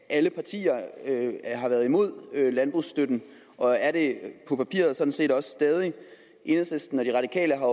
alle partier har været imod landbrugsstøtten og er det på papiret sådan set stadig enhedslisten og de radikale